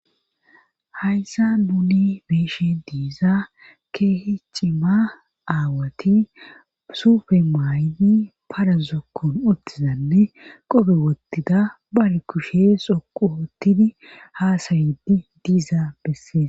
Hayssa nuni beeshen diiza keehi cima aawati sufe maaydi parazokkon ottizanne qobe wottida bare kushe soqu oottini haasayidi diizaa bessees.